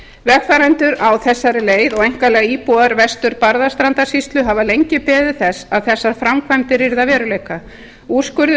vegfarendur á þessari leið og einkanlega íbúar vestur barðastrandarsýslu hafa lengi beðið þess að þessar framkvæmdir yrðu að veruleika úrskurður